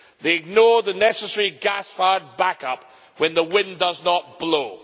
They ignore the necessary gas fired backup when the wind does not blow.